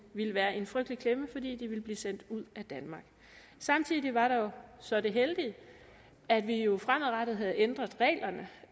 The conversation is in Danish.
ville være i en frygtelig klemme fordi de ville blive sendt ud af danmark samtidig var der jo så det heldige at vi jo fremadrettet havde ændret reglerne